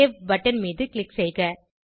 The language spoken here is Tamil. சேவ் பட்டன் மீது க்ளிக் செய்க